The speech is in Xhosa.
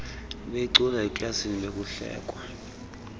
ebeyicula eklasini bekuhlekwa